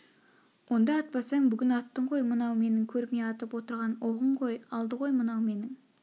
онда атпасаң бүгін аттың ғой мынау менің көрме атып отырған оғың ғой алды ғой мынау менің